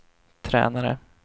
tränare